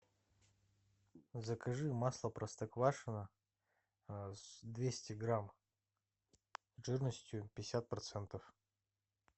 закажи масло простоквашино двести грамм жирностью пятьдесят процентов